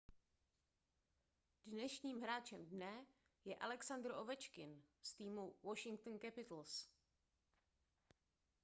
dnešním hráčem dne je alexandr ovečkin z týmu washington capitals